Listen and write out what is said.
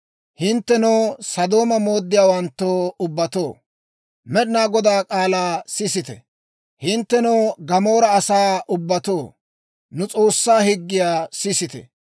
Hinttenoo, Sodooma mooddiyaawantto ubbatoo, Med'inaa Godaa k'aalaa sisite! Hinttenoo, Gamoora asaa ubbatoo, nu S'oossaa higgiyaa sisite!